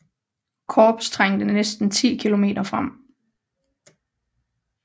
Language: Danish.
Korps trængte næsten 10 km frem